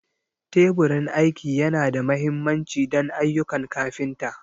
Teburin aiki yana da mahimmanci don ayyukan kafinta.